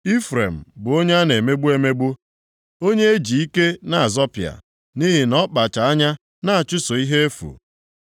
Ifrem bụ onye a na-emegbu emegbu, onye e ji ike na-azọpịa, nʼihi na ọ kpacha anya na-achụso ihe efu.